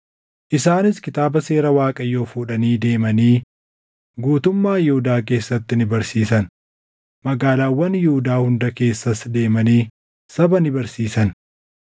Isaanis Kitaaba Seera Waaqayyoo fuudhanii deemanii guutummaa Yihuudaa keessatti ni barsiisan; magaalaawwan Yihuudaa hunda keessas deemanii saba ni barsiisan.